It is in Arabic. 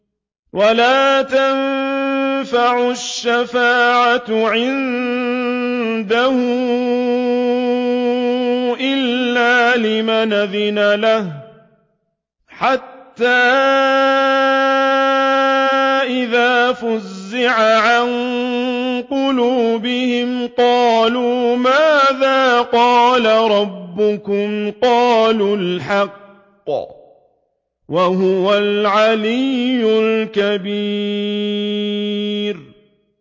وَلَا تَنفَعُ الشَّفَاعَةُ عِندَهُ إِلَّا لِمَنْ أَذِنَ لَهُ ۚ حَتَّىٰ إِذَا فُزِّعَ عَن قُلُوبِهِمْ قَالُوا مَاذَا قَالَ رَبُّكُمْ ۖ قَالُوا الْحَقَّ ۖ وَهُوَ الْعَلِيُّ الْكَبِيرُ